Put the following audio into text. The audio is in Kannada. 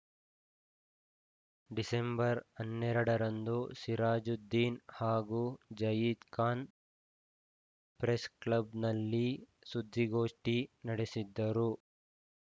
ಡಿಸೆಂಬರ್ ಹನ್ನೆರಡು ರಂದು ಸಿರಾಜುದ್ದೀನ್‌ ಹಾಗೂ ಜಯೀದ್‌ ಖಾನ್‌ ಪ್ರೆಸ್‌ಕ್ಲಬ್‌ನಲ್ಲಿ ಸುದ್ದಿಗೋಷ್ಠಿ ನಡೆಸಿದ್ದರು